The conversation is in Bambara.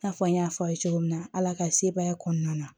I n'a fɔ n y'a fɔ a ye cogo min na ala ka sebaaya kɔnɔna na